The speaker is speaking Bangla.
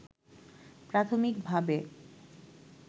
প্রাথমিকভাবে